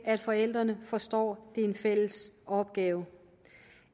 at forældrene forstår det er en fælles opgave